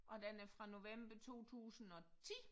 Og den er fra november 2010